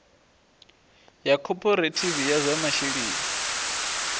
ya khophorethivi ya zwa masheleni